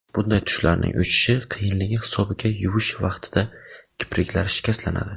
Bunday tushlarning o‘chishi qiyinligi hisobiga yuvish vaqtida kipriklar shikastlanadi.